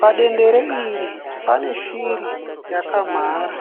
Padendere iri pane shiri yakamhara.